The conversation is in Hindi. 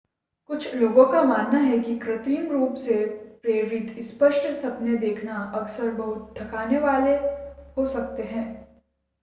कुछ लोगों का मानना ​​है कि कई कृत्रिम रूप से प्रेरित स्पष्ट सपने देखना अक्सर बहुत थकाने वाले हो सकते हैं